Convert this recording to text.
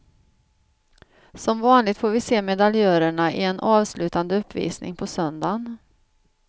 Som vanligt får vi se medaljörerna i en avslutande uppvisning på söndagen.